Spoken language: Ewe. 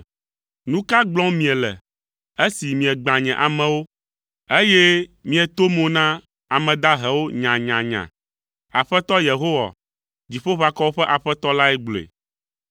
Nu ka gblɔm miele esi miegbã nye amewo, eye mieto mo na ame dahewo nyanyanya?” Aƒetɔ, Yehowa, Dziƒoʋakɔwo ƒe Aƒetɔ lae gblɔe.